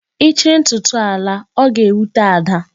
Ị chịrị ntụtụ a laa, ọ ga-ewute Ada.